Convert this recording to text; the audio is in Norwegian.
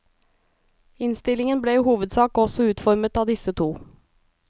Innstillingen ble i hovedsak også utformet av disse to.